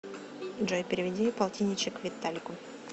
джой переведи полтинничек виталику